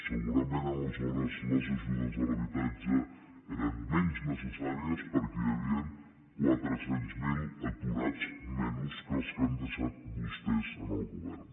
segurament aleshores les ajudes a l’habitatge eren menys necessàries perquè hi havien quatre cents miler aturats menys que els que han deixat vostès en el govern